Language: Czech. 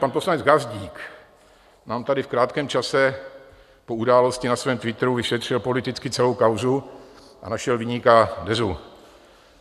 Pan poslanec Gazdík nám tady v krátkém čase po události na svém Twitteru vyšetřil politicky celou kauzu a našel viníka - Dezu.